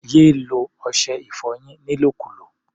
Yé lo ọṣẹ-ìfọyín nílòkulò!